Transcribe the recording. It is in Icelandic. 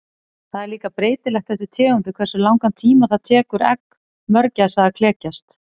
Það er líka breytilegt eftir tegundum hversu langan tíma það tekur egg mörgæsa að klekjast.